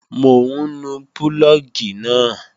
Mò ń nu púlọ̀gì náà